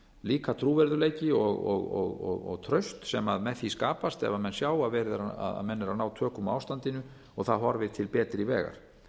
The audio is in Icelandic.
líka trúverðugleiki og traust sem með því skapast ef menn sjá að menn eru að ná tökum á ástandinu og það horfir til betri vegar